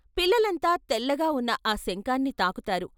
పిల్లలంతా తెల్లగా వున్న ఆ శంఖాన్ని తాకు తారు.